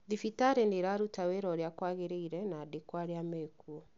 Thibitarĩ nĩ ĩraruta wĩĩra ũrĩa kwagĩrĩire na aandĩkwo arĩa mekuo